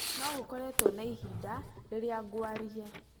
Nĩ gũkoretwo na ihinda rĩria ngwaria